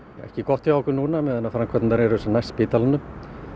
ekki gott hjá okkur núna á meðan framkvæmdirnar eru sem næst spítalanum